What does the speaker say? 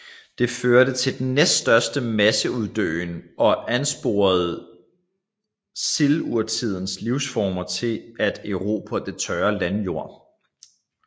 Det førte til den næststørste masseuddøen og ansporede silurtidens livsformer til at erobre den tørre landjord